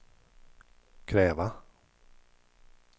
kräva